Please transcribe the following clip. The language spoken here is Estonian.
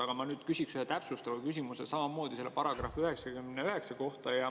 Aga ma nüüd küsiksin ühe täpsustava küsimuse samamoodi selle § 99 kohta.